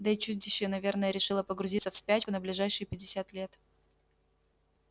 да и чудище наверное решило погрузиться в спячку на ближайшие пятьдесят лет